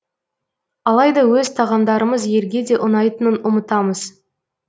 алайда өз тағамдарымыз елге де ұнайтынын ұмытамыз